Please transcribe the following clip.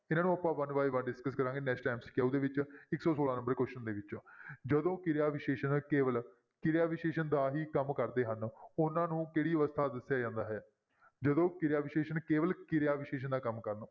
ਇਹਨਾਂ ਨੂੰ ਆਪਾਂ one by one discuss ਕਰਾਂਗੇ next MCQ ਦੇ ਵਿੱਚ, ਇੱਕ ਸੌ ਛੋਲਾਂ number question ਦੇ ਵਿੱਚ ਜਦੋਂ ਕਿਰਿਆ ਵਿਸ਼ੇਸ਼ਣ ਕੇਵਲ ਕਿਰਿਆ ਵਿਸ਼ੇਸ਼ਣ ਦਾ ਹੀ ਕੰਮ ਕਰਦੇ ਹਨ ਉਹਨਾਂ ਨੂੰ ਕਿਹੜੀ ਅਵਸਥਾ ਦੱਸਿਆ ਜਾਂਦਾ ਹੈ, ਜਦੋਂ ਕਿਰਿਆ ਵਿਸ਼ੇਸ਼ਣ ਕੇਵਲ ਕਿਰਿਆ ਵਿਸ਼ੇਸ਼ਣ ਦਾ ਕੰਮ ਕਰਨ।